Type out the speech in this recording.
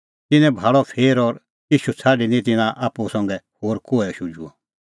तिन्नैं भाल़अ फेर और ईशू छ़ाडी निं तिन्नां आप्पू संघै होर कोहै शुझुअ